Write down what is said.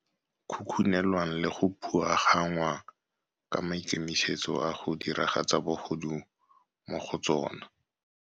khukhunelwang le go phuagannngwa ka maikemisetso a go diragatsa bogodu mo go tsona.